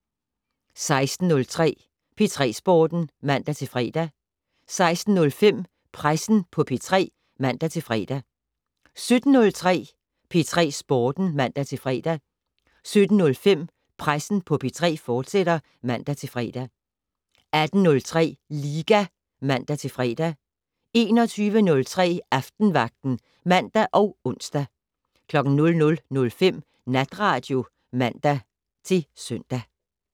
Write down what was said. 16:03: P3 Sporten (man-fre) 16:05: Pressen på P3 (man-fre) 17:03: P3 Sporten (man-fre) 17:05: Pressen på P3, fortsat (man-fre) 18:03: Liga (man-fre) 21:03: Aftenvagten (man og ons) 00:05: Natradio (man-søn)